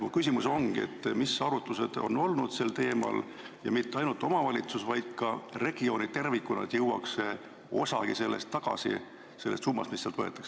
Mu küsimus ongi, mis arutlused on olnud sel teemal, et mitte ainult omavalitsustesse, vaid ka regioonidesse tervikuna jõuaks tagasi osagi sellest summast, mis sealt võetakse.